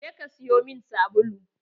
Je ka siyo min sabulu!